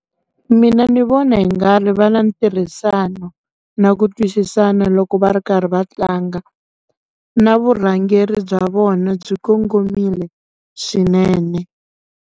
Mina ni vona hi nga ri va na ntirhisano na ku twisisana loko va ri karhi va tlanga na vurhangeri bya vona byi kongomile swinene.